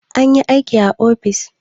Ana yin aiki a ofis.